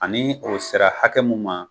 Ani o sera hakɛ mun ma